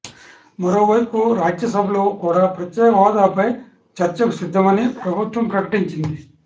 మరోవైపు రాజ్యసభలో కూడ ప్రత్యేక హోదాపై చర్చకు సిద్దమని ప్రభుత్వం ప్రకటించింది